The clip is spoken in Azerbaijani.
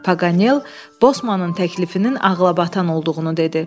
Paganel Bosmanın təklifinin ağılabatan olduğunu dedi.